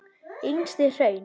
Yngstu hraun